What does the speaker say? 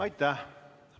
Aitäh!